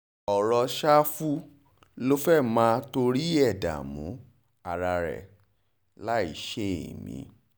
ọ̀rọ̀ ṣàfù ló fẹ́ẹ́ máa torí ẹ̀ dààmú ara ẹ̀ láì ṣe èmi